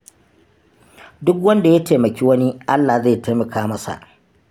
Duk wanda ya taimaki wani, Allah zai taimaka masa.